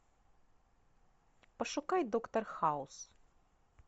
пошукай доктор хаус